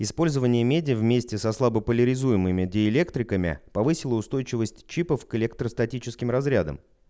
использование меди вместе со слабополяризуемыми диэлектриками повысила устойчивость чипов к электростатическим разрядам